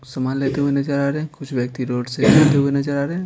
कुछ सामान लेते हुए नजर आ रहे हैं कुछ व्यक्ति रोड से जाते हुए नजर आ रहे हैं।